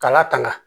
K'a latanga